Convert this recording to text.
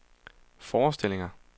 forestillinger